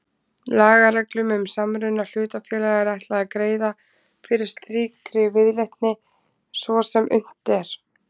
Lagareglum um samruna hlutafélaga er ætlað að greiða fyrir slíkri viðleitni svo sem unnt er.